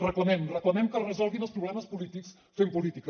reclamem reclamem que es resolguin els problemes polítics fent política